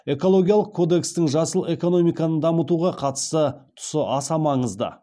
экологиялық кодекстің жасыл экономиканы дамытуға қатысты тұсы аса маңызды